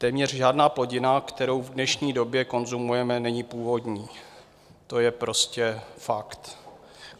Téměř žádná plodina, kterou v dnešní době konzumujeme, není původní, to je prostě fakt.